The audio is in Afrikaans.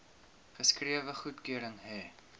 geskrewe goedkeuring hê